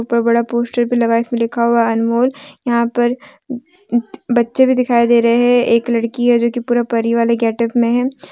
ऊपर बड़ा पोस्टर भी लगा है इसमें लिखा हुआ अनमोल यहां पर बच्चे भी दिखाई दे रहे हैं एक लड़की है जो कि पूरा परी वाले गेट अप में है।